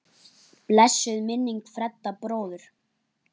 Blessuð sé minning Fredda bróður.